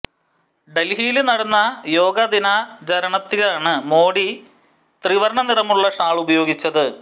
ഡല്ഹിയില് നടന്ന യോഗ ദിനാചരണത്തിലാണ് മോഡി ത്രിവര്ണ നിറമുള്ള ഷാള് ഉപയോഗിച്ചത്